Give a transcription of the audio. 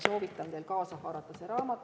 Soovitan teil kaasa haarata see raamat.